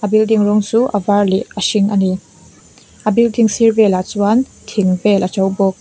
building rawng chu a var leh a hring a ni a building sir velah chuan thing vel a to bawk.